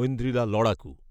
ঐন্দ্রিলা লড়াকু